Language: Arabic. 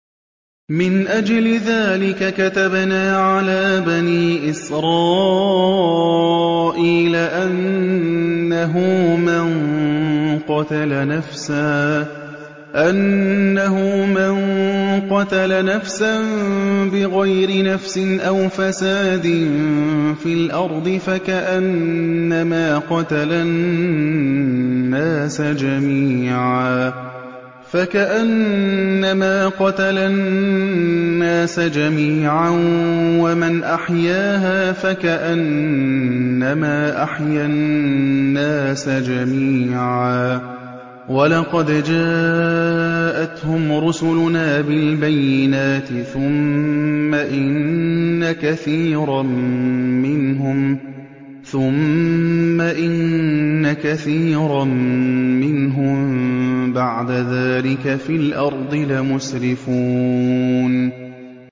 مِنْ أَجْلِ ذَٰلِكَ كَتَبْنَا عَلَىٰ بَنِي إِسْرَائِيلَ أَنَّهُ مَن قَتَلَ نَفْسًا بِغَيْرِ نَفْسٍ أَوْ فَسَادٍ فِي الْأَرْضِ فَكَأَنَّمَا قَتَلَ النَّاسَ جَمِيعًا وَمَنْ أَحْيَاهَا فَكَأَنَّمَا أَحْيَا النَّاسَ جَمِيعًا ۚ وَلَقَدْ جَاءَتْهُمْ رُسُلُنَا بِالْبَيِّنَاتِ ثُمَّ إِنَّ كَثِيرًا مِّنْهُم بَعْدَ ذَٰلِكَ فِي الْأَرْضِ لَمُسْرِفُونَ